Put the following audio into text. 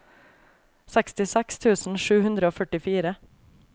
sekstiseks tusen sju hundre og førtifire